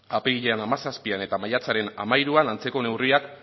apirilaren hamazazpian eta maiatzaren hamairuan antzeko neurriak